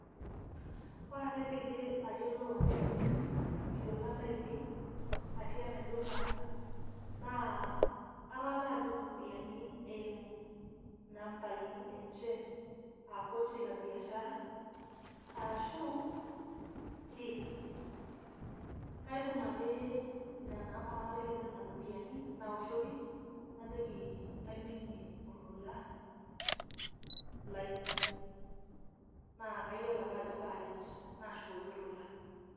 Ore ake peyie ayiolou ajo aiminie ilolan lainei, atii enaidurra, naa atalaa duo ropiyiani eimu nambai enche ah pochi la biashara, arashu till. Kaibung' ake nena amba natalakie duo nena ropiyiani, nawoshoki, najoki aiminie olola lai. Naa kayiolo ake ajo kaaret. Nashukoki olola.